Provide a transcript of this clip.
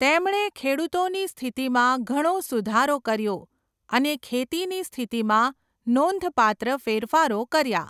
તેમણે ખેડૂતોની સ્થિતિમાં ઘણો સુધારો કર્યો અને ખેતીની સ્થિતિમાં નોંધપાત્ર ફેરફારો કર્યા.